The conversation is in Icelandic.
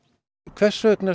hvers vegna